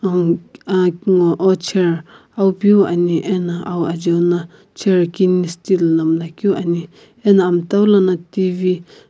nguo chair peu ame ano aow ajeu no chair kine steel na mula keu ane ano amta lono tv --